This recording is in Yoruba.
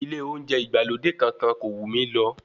Ilé oúnjẹ ìgbàlódé kankan kò wù mí lọ.